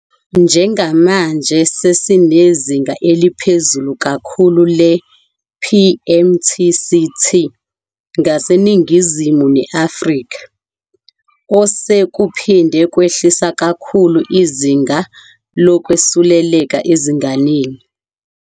Njengamanje sesinezinga eliphezulu kakhulu le-PMTCT ngaseNingizimu ne-Afrika, osekuphinde kwehlisa kakhulu izinga lokwesuleleka ezinganeni.